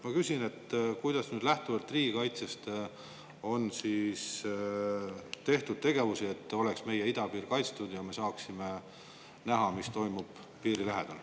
Ma küsin, kuidas on lähtuvalt riigikaitsest tegeldud sellega, et meie idapiir oleks kaitstud ja me saaksime näha, mis toimub piiri lähedal.